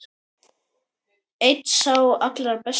Einn sá allra besti.